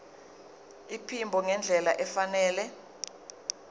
iphimbo ngendlela efanele